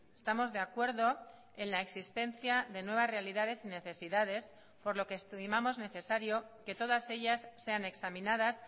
estamos de acuerdo en la existencia de nuevas realidades y necesidades por lo que estimamos necesario que todas ellas sean examinadas